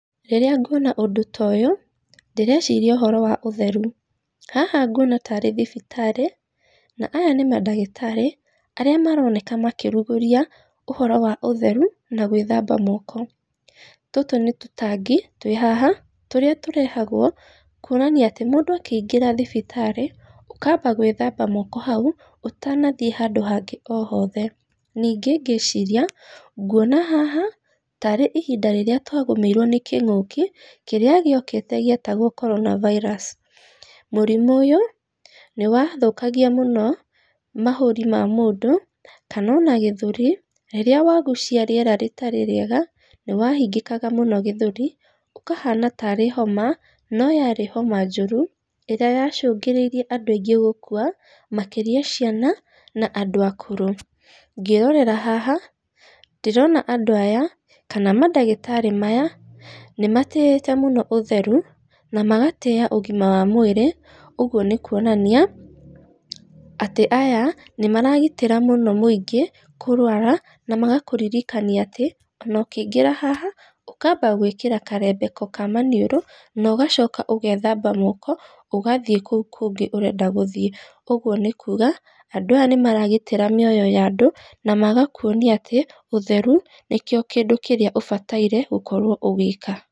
Rĩrĩa nguona ũndũ toyũ, ndĩreciria ũhoro wa ũtheru, haha nguona tarĩ thibitarĩ, na aya nĩ mandagĩtarĩ, arĩ maroneka makĩruguria ũhoro wa ũtheru, na gwĩthamba moko, tũtũ nĩ tũtangi, twĩhaha tũrĩa tũrehagwo kuonania atĩ, mũndũ akĩingĩra thibitarĩ, ũkamba gwĩthamba moko hau, ũtanathiĩ handũ hangĩ o hothe, ningĩ ngĩciria, ngwona haha, tarĩ ihinda rĩrĩa twagũmĩirwo nĩ kĩngũki kĩrĩa gĩokĩte gĩetagwo korona virus mũrimũ ũyũ nĩ wathũkagĩa mũno mahũri ma mũndũ, kana ona gĩthũri, rĩrĩa wagucia rĩera rĩtarĩ rĩega, nĩ wahingĩkaga mũno gĩthũri, ũkahana tarĩ homa noyarĩ homa njũru, ĩrĩa yacungĩrĩirie andũ aingĩ gũkua, makĩria ciana, na andũ akũrũ, ngĩrorera haha ndĩrona andũ aya kana mandagĩtarĩ maya, nĩ matĩyĩte mũno ũtheru, na magatĩya ũgima wa mwĩrĩ, ũguo nĩ kuonania, atĩ aya nĩ maragitĩra mũno mũingĩ kũrwara, na magakũririkania atĩ, ona ũkĩingĩra haha, ũngaba gwĩkĩra karembeko kamaniũro na ũkamba ũgethamba moko, ũgathiĩ kũu kũngĩ ũrenda gũthiĩ, ũguo nĩ kuga andũ aya nĩ maragitĩra mĩoyo yandũ, na magakuonia atĩ, ũtheru nĩkĩo kĩndũ kĩrĩa ũbataire gũkorwo ũgĩka.